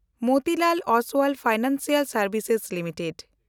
Motilal Oswal financial ᱥᱮᱱᱰᱵᱷᱥᱮᱥᱥ limited